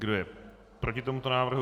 Kdo je proti tomuto návrhu?